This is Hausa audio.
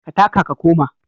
Ka taka ka koma.